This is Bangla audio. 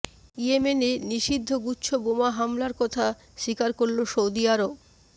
ইয়েমেনে নিষিদ্ধ গুচ্ছ বোমা হামলার কথা স্বীকার করল সৌদি আরব